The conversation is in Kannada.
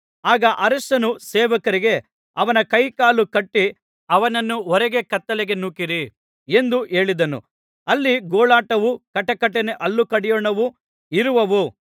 ಆಗ ಅರಸನು ಸೇವಕರಿಗೆ ಅವನ ಕೈಕಾಲು ಕಟ್ಟಿ ಅವನನ್ನು ಹೊರಗೆ ಕತ್ತಲೆಗೆ ನೂಕಿರಿ ಎಂದು ಹೇಳಿದನು ಅಲ್ಲಿ ಗೋಳಾಟವೂ ಕಟಕಟನೆ ಹಲ್ಲು ಕಡಿಯೋಣವೂ ಇರುವವು